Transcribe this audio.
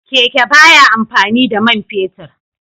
Keke ba ya amfani da man fetur